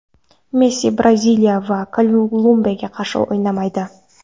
Messi Braziliya va Kolumbiyaga qarshi o‘ynamaydi.